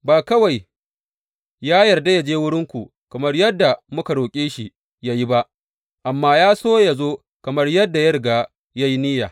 Ba kawai ya yarda yă je wurinku kamar yadda muka roƙe shi yă yi ba, amma ya so yă zo kamar yadda ya riga ya yi niyya.